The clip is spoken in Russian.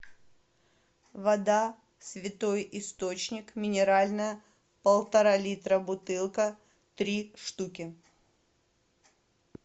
вода святой источник минеральная полтора литра бутылка три штуки